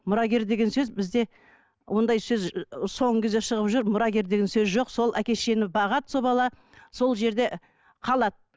мұрагер деген сөз бізде ондай сөз соңғы кезде шығып жүр мұрагер деген сөз жоқ сол әке шешені бағады сол бала сол жерде қалады